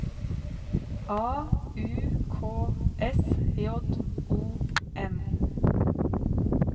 A U K S J O N